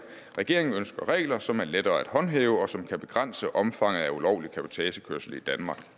regeringen ønsker regler som er lettere at håndhæve og som kan begrænse omfanget af ulovlig cabotagekørsel i danmark